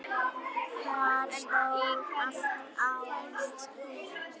Þar stóð allt á ensku.